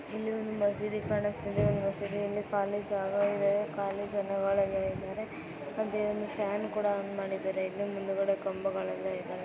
ಇಲ್ಲಿ ಒಂದು ಮಸೀದಿ ಕಾಣಿಸುತ್ತಾ ಇದೆ ಮಸೀದಿಯಲ್ಲಿ ಖಾಲಿ ಜಾಗಗಳಿವೆ ಖಾಲಿ ಜಾಗದಲ್ಲಿ ಫ್ಯಾನ್ ಕೂಡ ಆನ್ ಮಾಡಿದ್ದಾರೆ ಇಲ್ಲಿ ಮುಂದಾಡೆ ಕಂಬಗಳನ್ನು ಇದವೆ.